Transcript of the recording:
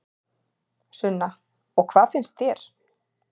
Sunna: Og hvað finnst þér?